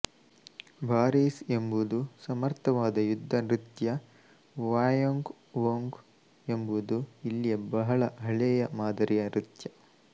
ಬಾರಿಸ್ ಎಂಬುದು ಸಮರ್ಥವಾದ ಯುದ್ಧ ನೃತ್ಯ ವಾಯೊಂಗ್ ವೊಂಗ್ ಎಂಬುದು ಇಲ್ಲಿಯ ಬಹಳ ಹಳೆಯ ಮಾದರಿಯ ನೃತ್ಯ